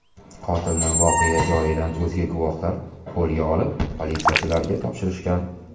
Qotilni voqea joyining o‘zida guvohlar qo‘lga olib, politsiyachilarga topshirishgan.